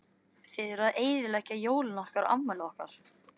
Þið eruð að eyðileggja jólin okkar og afmælið okkar.